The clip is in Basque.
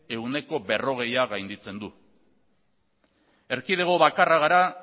ehuneko berrogeia gainditzen du erkidego bakarra gara